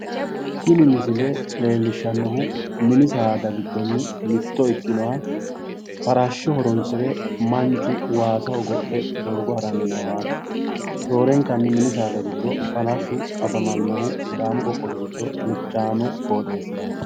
Tini misile leellishshannohu mini saada giddo mitto ikkinoha Farashsho horonsire Manchu waasa hogowe doogo haranni noohaati. Roorenkanni mini saada gidfo Farashshu afamannohu Sidaamu qoqqowi giddo alichaame qooxeessiraati.